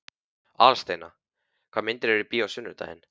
Aðalsteina, hvaða myndir eru í bíó á sunnudaginn?